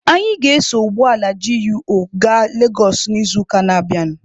Anyị ga-eso ụgbọala GUO gaa Legosụ n'izuụka na-abịanụ.